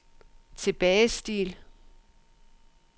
tilbagestil